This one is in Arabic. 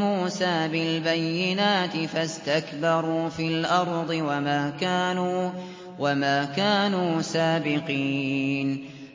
مُّوسَىٰ بِالْبَيِّنَاتِ فَاسْتَكْبَرُوا فِي الْأَرْضِ وَمَا كَانُوا سَابِقِينَ